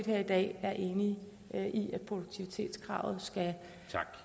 her i dag er enige i at produktivitetskravet skal